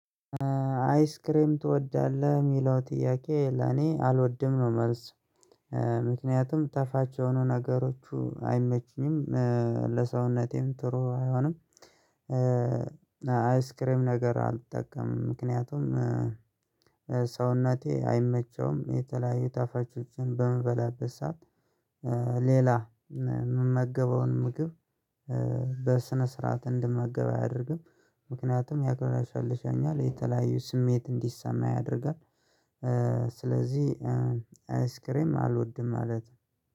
አይስክሬም ትወዳለህ የሚለው ጥያቄ ለኔ አልወድም ነው መልስ። ምክንያቱም ጣፋጭ የሆኑ ነገሮቹ አይመችኝም ለሰውነቴም ጥሩ አይሆንም። አይስክሬም ነገር አልጠቀምም ምክንያቱም ሰውነቴ አይመቸውም የተለያዩ ጣፋጭሆችን በምበላበት ሰዓት። ሌላ የምመገበውን ምግብ በስነ ስርዓት እንድመገብ አያደርግም። ምክንያቱም ያቅለሽልሽኛል የተለያዩ ስሜት እንዲሰማ ያደርጋል። ስለዚህ አይስክሬም አልወድም ማለት